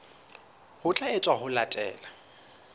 ho tla etswa ho latela